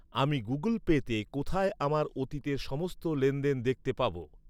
আমি গুগল পেতে কোথায় আমার অতীতের সমস্ত লেনদেন দেখতে পাব?